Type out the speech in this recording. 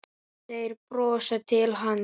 Þeir brosa til hans.